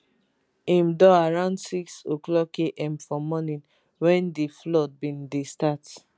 im door around 600am for morning wen di flood bin dey start